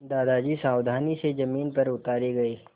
दादाजी सावधानी से ज़मीन पर उतारे गए